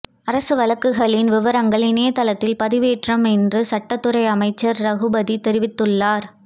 அரசு வழக்குகளின் விவரங்கள் இணையத்தில் பதிவேற்றப்படும் என்று சட்டத்துறை அமைச்சர் ரகுபதி தெரிவித்துள்ளார்